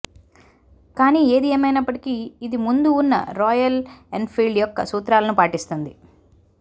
కానీ ఏది ఏమైనప్పటికి ఇది ముందు ఉన్న రాయల్ ఎన్ఫీల్డ్ యొక్క సూత్రాలను పాటిస్తుంది